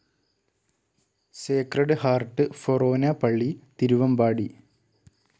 Sacred Heart ഫൊറോന പള്ളി തിരുവമ്പാടി